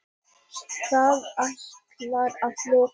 Það ætlar að lukkast.